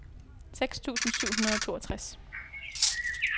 seks tusind syv hundrede og toogtres